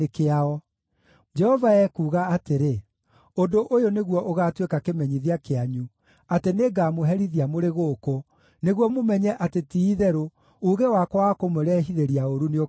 “Jehova ekuuga atĩrĩ: ‘Ũndũ ũyũ nĩguo ũgaatuĩka kĩmenyithia kĩanyu atĩ nĩngamũherithia mũrĩ gũkũ, nĩguo mũmenye atĩ ti-itherũ uuge wakwa wa kũmũrehithĩria ũũru nĩũkehaanda.’